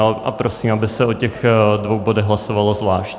A prosím, aby se o těch dvou bodech hlasovalo zvlášť.